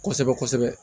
Kosɛbɛ kosɛbɛ